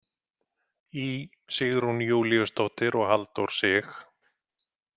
Í Sigrún Júlíusdóttir og Halldór Sig.